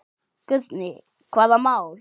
Guðný: Hvaða mál?